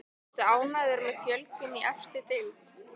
Ertu ánægður með fjölgun í efstu deild?